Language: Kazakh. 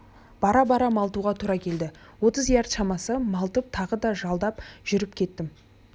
бара-бара малтуға тура келді отыз ярд шамасы малтып тағы да жалдап жүріп кеттім